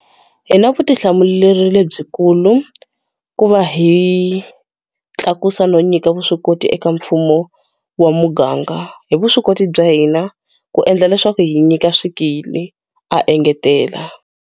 Hina vutihlamuleri lebyikulu ku va hi tlakusa no nyika vuswikoti eka mfumo wa muganga, hi vuswikoti bya hina ku endla leswaku hi nyika swikili, a engetela.